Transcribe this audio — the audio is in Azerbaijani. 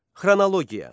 Xronologiya.